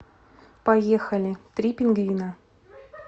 поехали три пингвина